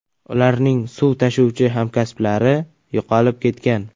Ularning suv tashuvchi hamkasblari yo‘qolib ketgan.